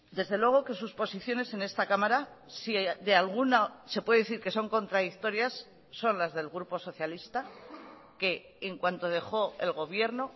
desde luego que sus posiciones en esta cámara si de alguna se puede decir que son contradictorias son las del grupo socialista que en cuanto dejó el gobierno